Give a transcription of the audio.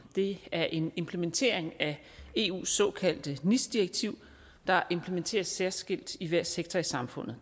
det er en implementering af eus såkaldte nis direktiv der implementeres særskilt i hver sektor i samfundet